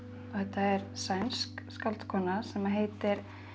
þetta er sænsk skáldkona sem heitir